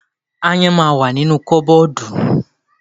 Aáyán ma wà nínu kọ́bọ́ọ̀dù.